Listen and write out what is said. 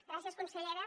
gràcies consellera